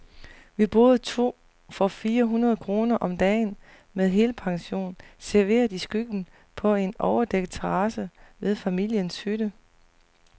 Vi boede to for fire hundrede kroner om dagen, med helpension, serveret i skyggen på en overdækket terrasse ved familiens hytte.